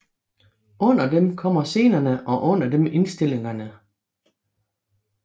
Under dem kommer scenerne og under dem indstillingerne